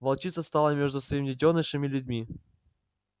волчица стала между своим детёнышем и людьми